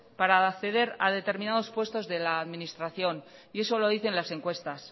para acceder a determinados puestos de la administración y eso lo dicen las encuestas